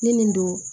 Ne nin don